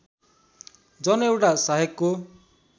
जन एउटा सहायकको